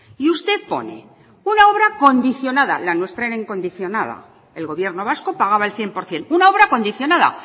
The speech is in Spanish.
y usted pone una obra condicionada la nuestra era incondicionada el gobierno vasco pagaba el cien por ciento una obra condicionada